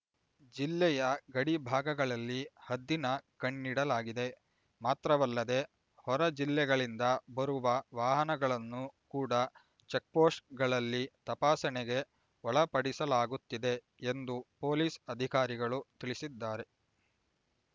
ಜಿಲ್ಲೆಯ ಗಡಿ ಭಾಗಗಳಲ್ಲಿ ಹದ್ದಿನ ಕಣ್ಣಿಡಲಾಗಿದೆ ಮಾತ್ರವಲ್ಲದೆ ಹೊರ ಜಿಲ್ಲೆಗಳಿಂದ ಬರುವ ವಾಹನಗಳನ್ನು ಕೂಡ ಚೆಕ್‍ಪೋಸ್ಟ್ ಗಳಲ್ಲಿ ತಪಾಸಣೆಗೆ ಒಳಪಡಿಸಲಾಗುತ್ತಿದೆ ಎಂದು ಪೊಲೀಸ್ ಅಧಿಕಾರಿಗಳು ತಿಳಿಸಿದ್ದಾರೆ